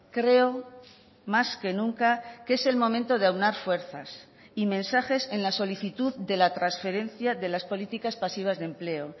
creo más que nunca que es el momento de aunar fuerzas y mensajes en la solicitud de la transferencia de las políticas pasivas de empleo